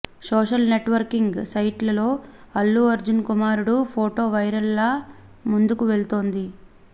social networking sites లో అల్లు అర్జున్ కుమారుడు photo viral లా ముందుకు వెళ్తోంది